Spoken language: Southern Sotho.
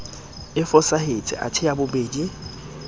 e fosahetse athe ya bobedi